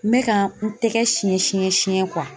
N bɛ ka n tɛgɛ siɲɛ siɲɛ siɲɛ